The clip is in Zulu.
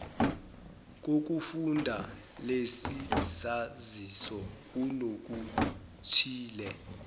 kokufunda lesisaziso kunokuthile